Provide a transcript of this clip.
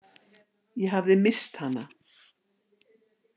Ég hafði misst hana.